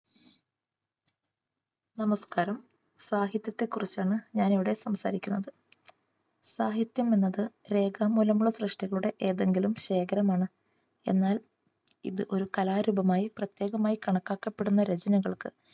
നമസ്കാരം, സാഹിത്യത്തെ കുറിച്ചാണ് ഞാനിവിടെ സംസാരിക്കുന്നത്. സാഹിത്യം എന്നത് രേഖാമൂലമുള്ള സൃഷ്ടികളുടെ ഏതെങ്കിലും ശേഖരമാണ്. എന്നാൽ ഇത് ഒരു കലാരൂപമായി പ്രത്യേകമായി കണക്കാക്കപ്പെടുന്ന രചനകൾക്ക്